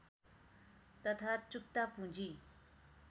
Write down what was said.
तथा चुक्ता पूँजी